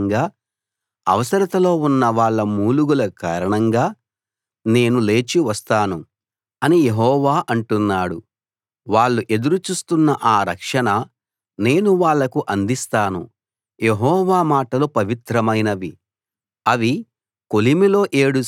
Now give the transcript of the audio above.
పేదలకు విరోధంగా జరుగుతున్న హింస కారణంగా అవసరతలో ఉన్నవాళ్ళ మూలుగుల కారణంగా నేను లేచి వస్తాను అని యెహోవా అంటున్నాడు వాళ్ళు ఎదురు చూస్తున్న ఆ రక్షణ నేను వాళ్లకు అందిస్తాను